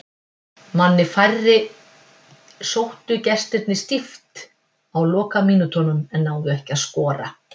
Manni færri sóttu gestirnir stíft á lokamínútunum en náðu ekki að skora.